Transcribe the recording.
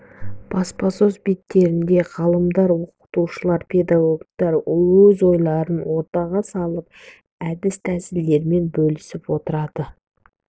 баспасөз беттерінде ғалымдар оқытушылар педагогтар өз ойларын ортаға салып әд тәсілдерімен бөлісіп отырады